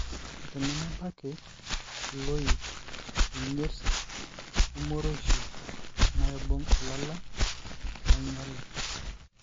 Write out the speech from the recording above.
tenemebaki, ilooik, enyirt, o-morioshi naibung ilala nainyiala.